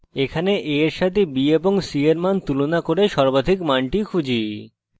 এখানে a we সাথে b এবং c we মান তুলনা করে সর্বাধিক মানটি খুঁজি